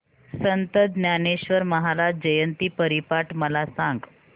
संत ज्ञानेश्वर महाराज जयंती हरिपाठ मला सांग